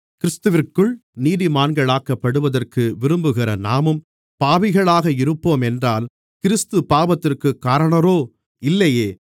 கிறிஸ்துவிற்குள் நீதிமான்களாக்கப்படுவதற்கு விரும்புகிற நாமும் பாவிகளாக இருப்போமென்றால் கிறிஸ்து பாவத்திற்குக் காரணரோ இல்லையே